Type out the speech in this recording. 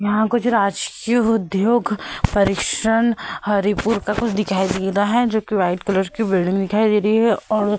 यहाँ कुछ राजकीय उद्योग परीक्षण हरीपुर का कुछ दिखाई दे रहा है जो कि व्हाइट कलर की बिल्डिंग दिखाई दे रही है और --